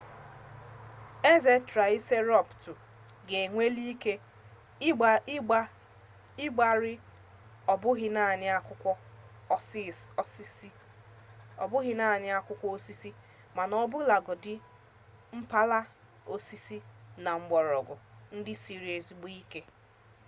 eze traịserotọpsụ ga-enweli ike ịgbari ọ bụghị naanị akwụkwọ osisi mana ọbụlagodi mpalaga osisi na mgbọrọgwụ ndị siri ezigbo ike